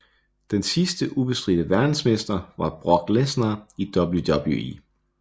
Den sidste ubestridte verdensmester var Brock Lesnar i WWE